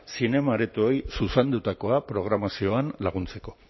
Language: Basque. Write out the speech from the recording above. zinema aretoei zuzendutako programazioan laguntzeko